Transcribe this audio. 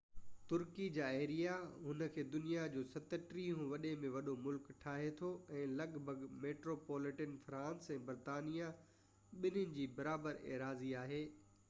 ترڪي جو ايريا ان کي دنيا جو 37 هون وڏي ۾ وڏو ملڪ ٺاهي ٿو ۽ لڳ ڀڳ ميٽروپوليٽن فرانس ۽ برطانيا ٻني جي برابر ايراضي آهي